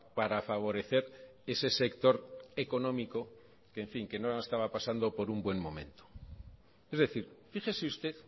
para favorecer ese sector económico que en fin que no estaba pasando por un buen momento es decir fíjese usted